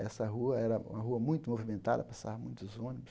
Essa rua era uma rua muito movimentada, passavam muitos ônibus.